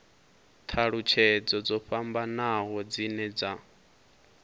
thalutshedzo dzo fhambanaho dzine dza